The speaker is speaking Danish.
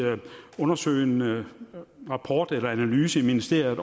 undersøgende rapport eller analyse i ministeriet af